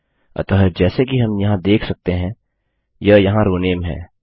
अतः जैसे कि हम यहाँ देख सकते हैं यह यहाँ रो नेम है